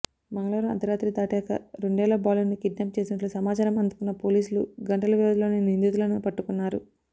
మంగళవారం అర్ధరాత్రి దాటాక రెండేళ్ల బాలుడిని కిడ్నాప్ చేసినట్లు సమాచారం అందుకున్న పోలీసులు గంటల వ్యవధిలోనే నిందితులను పట్టుకున్నారు